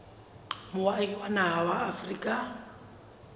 moahi wa naha ya afrika